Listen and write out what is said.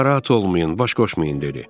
Narahat olmayın, baş qoşmayın dedi.